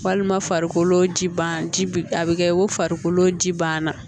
Walima farikolo ji ban ji a bi kɛ ko farikolo ji ban na